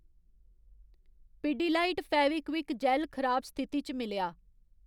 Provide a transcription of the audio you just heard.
पिडिलाइट फेविक्विक जैल्ल खराब स्थिति च मिलेआ